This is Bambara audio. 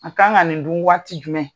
A kan ka nin dun waati jumɛn.